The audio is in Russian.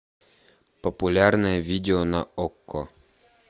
популярное видео на окко